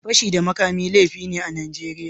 Fashi da makami laifi ne a Najeriya